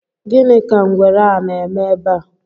Gini ka ngwere a na-eme ebe a?